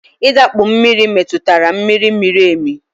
I dakpu mmiri metụtara mmiri miri emi